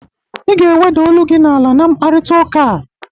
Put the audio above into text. Ị ga-eweda olu gi n'ala na mkparịtaụka a!